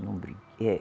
Não brigue eh.